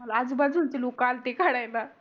मला आजू बाजू चे लोक आलते काढायला